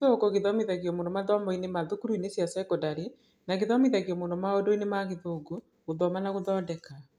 Gĩthũngũ gĩthomithagio mũno mathomoinĩ na thukuruinĩ cia cekondarĩ na gĩthomithagio mũno maũndũinĩ ma Gĩthũngũ, Gũthoma na Gũthondeka.